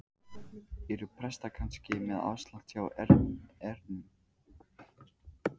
Eru prestar kannski með afslátt hjá Erninum?